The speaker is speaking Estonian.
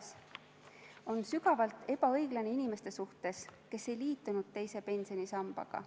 See on sügavalt ebaõiglane inimeste suhtes, kes ei liitunud teise pensionisambaga.